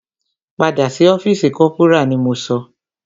Padà sí ọ́fìsì corporal ni mo sọ!